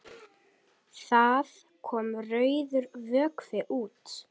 Það kom rauður vökvi út.